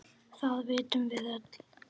Það vitum við öll.